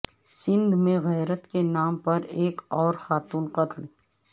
سندھ میں غیرت کے نام پر ایک اور خاتون قتل